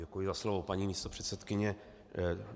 Děkuji za slovo, paní místopředsedkyně.